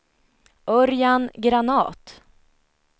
Örjan Granath